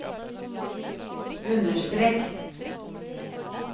understrek